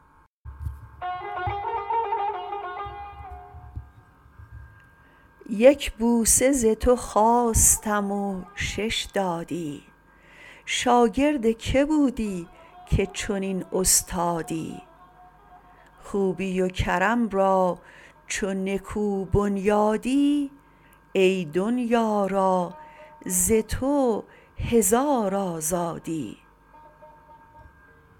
یک بوسه ز تو خواستم و شش دادی شاگرد که بودی که چنین استادی خوبی و کرم را چو نکو بنیادی ای دنیا را ز تو هزار آزادی